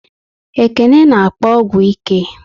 Ekene n'akpo ọgwụ ike